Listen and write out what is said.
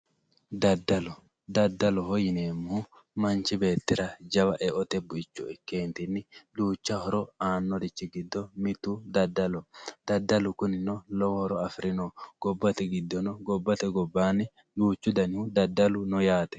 daddalo daddaloho yineemmohu manchi beettira jawa e'ote bu'ichcho ikkeentinni duuchcha horo aannorichchi giddo mittu daddaloho daddalu kunino lowo horo afirino gobbate giddono gobbate gobbaannino duuchu danihu daddalu no yaate